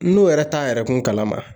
N'o yɛrɛ t'an yɛrɛ kun kalama